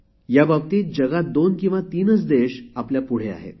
याबाबतीत जगात दोन किंवा तीनच देश आपल्या पुढे आहेत